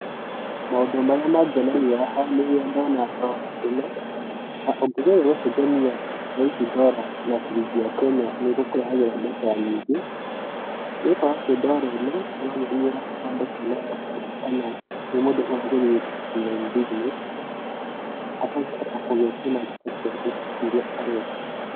Maũndũ marĩa mangenagĩa haha nĩ rĩrĩa ndũna ndora ĩno, na tũngĩgeria gũcenjania thaicĩ ndũra na cirĩngĩ ya Kenya nĩkũrehagĩra mbeca nyingĩ, nĩgũkorwo atĩ ndũra ĩno ĩronania handũ hena laptop kana nĩ mũndũ ũrageria gwĩka online business akahũta gũthũkũma mbeca ĩrĩa arenda.